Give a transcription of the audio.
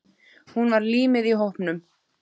Hún var límið í hópnum.